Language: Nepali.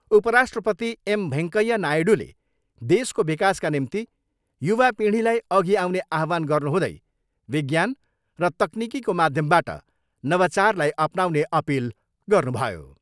उपराष्ट्रपति एम भेङ्कैया नायडूले देशको विकासका निम्ति युवा पिँढीलाई अघि आउने आह्वान गर्नुहुँदै विज्ञान र तकनिकीको माध्यमबाट नवचारलाई अपनाउने अपिल गर्नुभयो।